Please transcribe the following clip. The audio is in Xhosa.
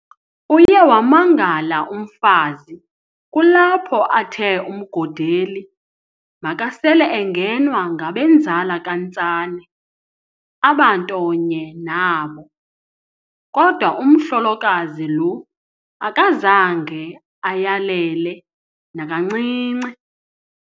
Uye wamangala umfazi, kulapho athe uMgodeli makasel'engenwa ngabenzala kaNtsane abanto nye nabo, kodwa umhlolokazi lo akazange ayelele nakancinci.